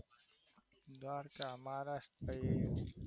દ્વારકા બાજુ